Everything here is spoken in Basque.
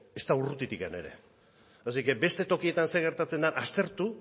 ezta urrutitik ere beste tokietan zer gertatzen den aztertu